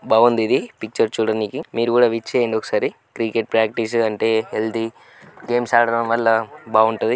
బావుందిది picture చూడనీకి మీరు కూడా విచ్చేయండి ఒకసారి క్రికెట్ ప్రాక్టీస్ అంటే హెల్దీ గేమ్స్ ఆడడం వల్ల బావుంటది.